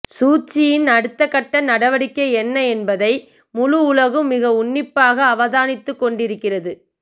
சூச்சியின் அடுத்த கட்ட நடவடிக்கை என்ன என்பதை முழு உலகும் மிக உன்னிப்பாக அவதானித்துக்கொண்டிருக்கின்றது